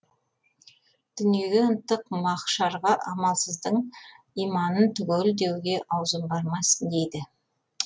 дүниеге ынтық махшарға амалсыздың иманын түгел деуге аузым бармас дейді